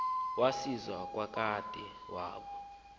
wasiwa kwadade wabo